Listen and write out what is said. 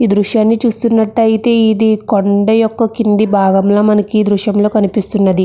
ఈ దృశ్యాన్ని చూస్తున్నట్టు అయితే ఇది కొండ యొక్క కింది భాగంలా మనకి ఈ దృశ్యంలో కనిపిస్తున్నది.